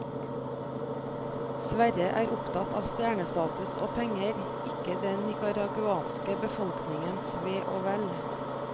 Sverre er opptatt av stjernestatus og penger, ikke den nicaraguanske befolkningens ve og vel.